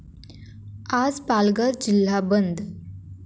आज पालघर जिल्हा बंद